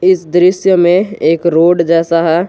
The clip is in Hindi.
इस दृश्य में एक रोड जैसा है।